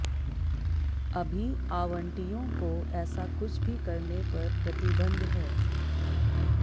अभी आवंटियों को ऐसा कुछ भी करने पर प्रतिबंध है